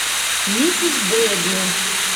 миссис брэдли